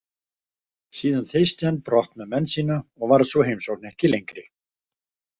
Síðan þeysti hann brott með menn sína og varð sú heimsókn ekki lengri.